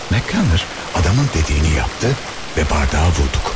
Mak kanər adamın dediyini yapdı və bardağa vurduk.